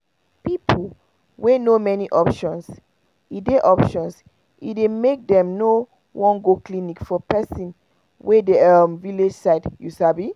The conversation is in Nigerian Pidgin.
people wey know many options e dey options e dey make dem no wan go clinic for person wey dey village side you sabi